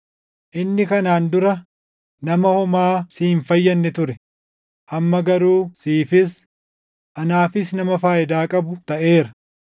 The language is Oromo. Inni kanaan dura nama homaa si hin fayyadne ture; amma garuu siifis anaafis nama faayidaa qabu taʼeera.